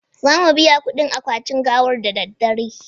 Za mu biya kudin akwatin gawar da daddare